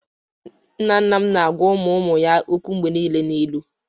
Nna nna m na-agwa ụmụ ụmụ ya okwu mgbe niile n'ilu.